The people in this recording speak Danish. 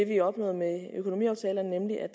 vi opnåede med økonomiaftalerne nemlig at